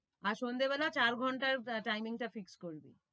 আর সন্ধ্যেবেলা চার ঘন্টায় timing টা fix করবি।